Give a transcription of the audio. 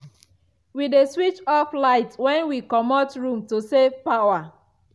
we dey switch off light when we comot room to save power.